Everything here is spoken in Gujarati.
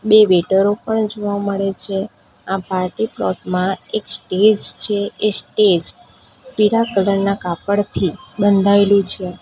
એ વેઈટરો પણ જોવા મળે છે આ પાર્ટી પ્લોટ માં એક સ્ટેજ છે એ સ્ટેજ પીળા કલરના કાપડથી બંધાયેલું છે.